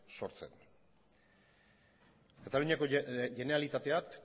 sortzen kataluniako generalitateak